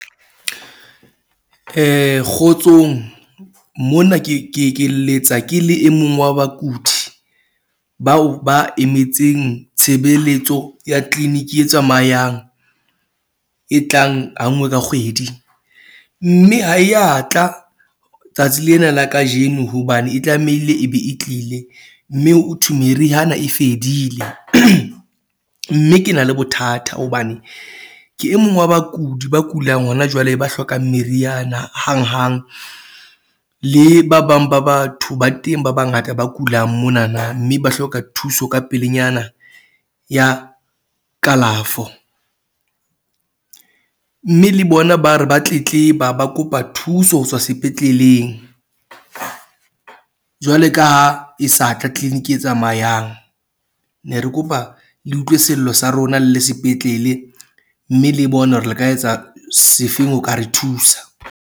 Kgotsong mona ke ke ke letsa ke le e mong wa bakudi bao ba emetseng tshebeletso ya clinic e tsamayang e tlang ha nngwe ka kgwedi. Mme ha e ya tla tsatsi lena la kajeno hobane e tlamehile e be e tlile. Mme ho thwe meriana e fedile. Mme ke na le bothata hobane ke e mong wa bakudi ba kulang hona jwale, ba hlokang meriana hanghang. Le ba bang ba batho ba teng ba bangata ba kulang mona na mme ba hloka thuso ka pelenyana ya kalafo. Mme le bona ba re ba tletleba, ba kopa thuso ho tswa sepetleleng. Jwale ka ha e sa tla clinic e tsamayang, ne re kopa le utlwe sello sa rona le le sepetlele mme le bone hore le ka etsa sefeng ho ka re thusa.